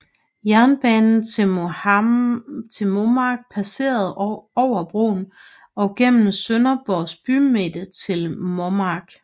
Jernbanen til Mommark passerede over broen og gennem Sønderborgs bymidte til Mommark